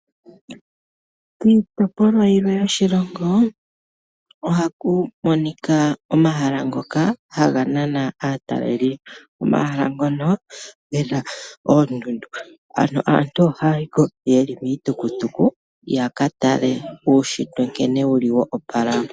Kiitopolwa yilwe yoshilingo ohakumonika omahala ngoka hanganana ataleli, omahala ngono ngena ondundu, ano aantu ohayiko yeli miitukukuku yakatale uushitwe nkene wuli wo opala.